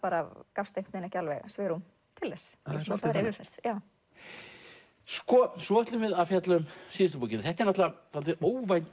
gafst ekki alveg svigrúm til þess það er svolítið þannig sko svo ætlum við að fjalla um síðustu bókina þetta er dálítið óvænt